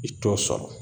I t'o sɔrɔ